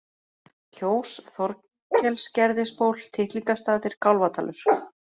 Kjós, Þorkelsgerðisból, Tittlingastaðir, Kálfadalur